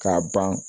K'a ban